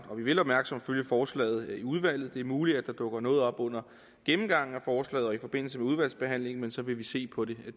og vi vil opmærksomt følge forslaget i udvalget det er muligt at der dukker noget op under gennemgangen af forslaget og i forbindelse med udvalgsbehandlingen men så vil vi se på det